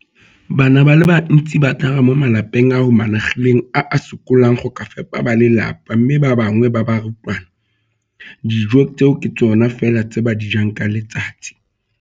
Bana ba le bantsi ba tlhaga mo malapeng a a humanegileng a a sokolang go ka fepa ba lelapa mme ba bangwe ba barutwana, dijo tseo ke tsona fela tse ba di jang ka letsatsi.